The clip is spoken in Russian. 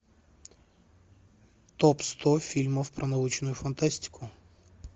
топ сто фильмов про научную фантастику